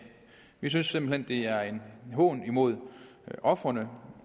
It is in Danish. vi synes simpelt hen det er en hån mod ofrene